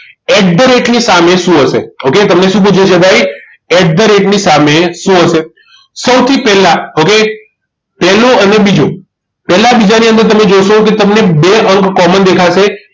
At the rate ની સામે શું હશે okay તમને શું પૂછ્યું છે ભાઈ at the rate ની સામે શું હશે સૌથી પહેલા હવે પહેલું અને બીજું પહેલા બીજા ની અંદર તમે જોશો કે તમને બે અંક common દેખાશે